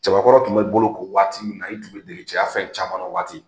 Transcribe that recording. Cɛbakɔrɔ kun be boloko waati min na, i kun be dege cɛya fɛn caman na o waati.